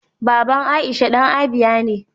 Aisha baba dan Abia ne.